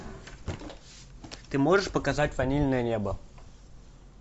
ты можешь показать ванильное небо